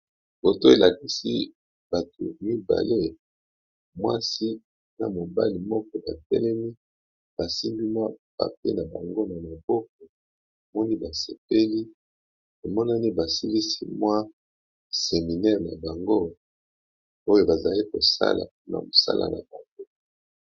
Foto elakisi bato mibale mwasi na mobali moko tapelemi basingimwa pape na bango na moboko moni basepeli emonani basilisi mwa seminele na bango oyo bazali kosala na mosala na bango.